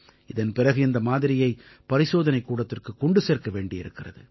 இதன் பிறகு இந்த மாதிரியை பரிசோதனைக் கூடத்திற்குக் கொண்டு சேர்க்க வேண்டியிருக்கிறது